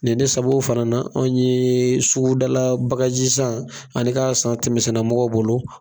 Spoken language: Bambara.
Nin ne sabu fana na anw yee sugudala bagajisan ani ka san tɛmɛsenna mɔgɔw bolo